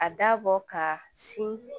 A dabɔ ka sin